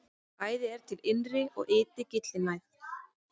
Bæði er til innri og ytri gyllinæð.